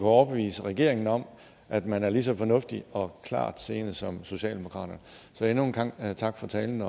overbevise regeringen om at man er lige så fornuftig og klartseende som socialdemokratiet så endnu en gang tak for talen